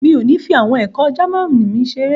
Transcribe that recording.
Mi ò ní fi àwọn ẹ̀kọ́ Jámánì mi ṣeré.